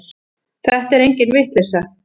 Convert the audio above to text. Þetta er engin vitleysa.